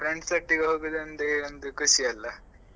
Friends ಒಟ್ಟಿಗೆ ಹೋಗುದು ಅಂದ್ರೆ ಒಂದು ಖುಷಿ ಅಲ್ವ.